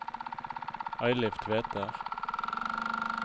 Eilif Tveter